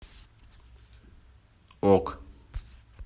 ок